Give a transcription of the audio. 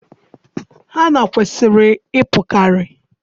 Hanna kwesịrị ịpụkarị.